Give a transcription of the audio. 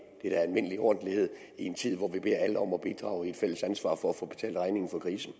er da almindelig ordentlighed i en tid hvor vi beder alle om at bidrage i et fælles ansvar for at få betalt regningen for krisen